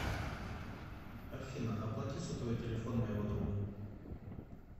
афина оплати сотовый телефон моего друга